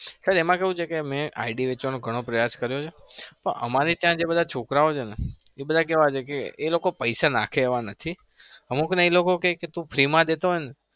sir એમાં કેવું છે કે મેં id વેચવાનો ઘણો પ્રયાસ કર્યો છે પણ અમારી ત્યાં જે બધા છોકરાઓ છે ને એવા બધા કેવા છે કે એ લોકો પૈસા નાંખે એવા નથી અમુકને એ લોકો કે ક તું free માં દેતો હોય ને